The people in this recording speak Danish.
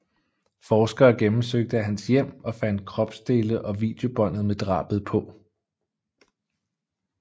Forskere gennemsøgte hans hjem og fandt kropsdele og videobåndet med drabet på